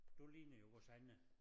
Du ligner jo vores egne